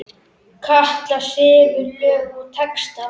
Katla semur lög og texta.